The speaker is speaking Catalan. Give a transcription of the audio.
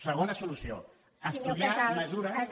segona solució estudiar mesures